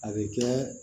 A bɛ kɛ